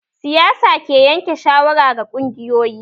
Siyasa ke yanke shawara ga ƙungiyoyi